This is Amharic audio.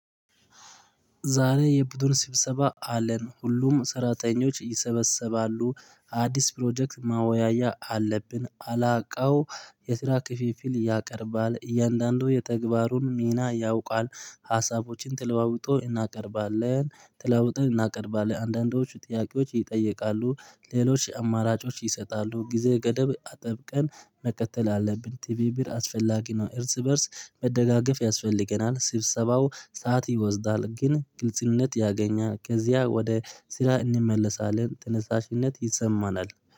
ዛሬ የቡድን ስብሰባ አለን ሁሉም ሰራተኞች ይሰበሰባሉ። አዲስ ፕሮጀክት ማወያያ አለብን አላውቀው የስራ ክፊፊል ያቀርባል እያንዳንዱ የተግባሩን ሚና ያውቃል ሀሳቦችን ትለዋውጦ እናቀርባለን ትለዋውጠን እናቀርባለን አንዳንዶቹ ጥያቄዎች ይጠየቃሉ ሌሎች አማራጮች ይሰጣሉ ጊዜ ገደብ አጠብቀን መቀጠል አለብን። ቲቪ ብር አስፈላጊ ነው እርስ በእርስ መደጋገፍ ያስፈልገናል ስብሰባው ሰዓት ይወስዳል ግን ግልጽነት ያገኛል ከዚያ ወደ ስራ እንመለሳለን ተነሳሽነት ይሰማናል።